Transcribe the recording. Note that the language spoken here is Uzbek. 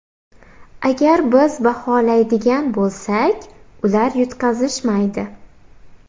Agar biz baholaydigan bo‘lsak, ular yutqazishmaydi.